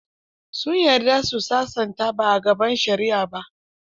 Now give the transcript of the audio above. Sun yarda su sasanta ba a gaban shari'a ba.